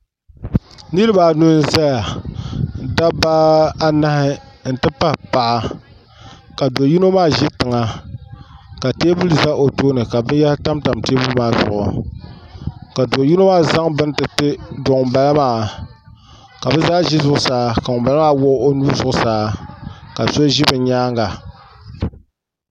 Niriba anu n zaya dabba anahi n ti pahi paɣa ka do yino maa ʒɛ tiŋa ka teebuli za o tooni ka binyahiri tam tam teebuli maa zuɣu ka do yino maa zaŋ bini ti ti do ŋun bala maa ka bɛ zaa ʒi zuɣusaa ka ŋun bala maa wuɣi o nuu zuɣusaa ka so ʒi bɛ nyaanga.